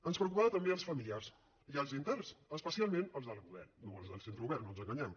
ens preocupaven també els familiars i els interns especialment els de la model no els del centre obert no ens enganyem